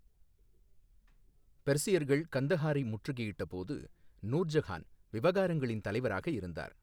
பெர்சியர்கள் கந்தஹாரை முற்றுகையிட்டபோது, நூர்ஜஹான் விவகாரங்களின் தலைவராக இருந்தார்.